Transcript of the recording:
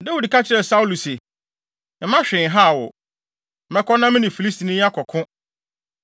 Dawid ka kyerɛɛ Saulo se, “Mma hwee nhaw wo. Mɛkɔ na me ne Filistini yi akɔko.”